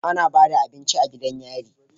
Ana Bada abinci a gidan yari